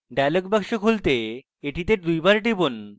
dialog box খুলতে এটিতে দুইবার টিপুন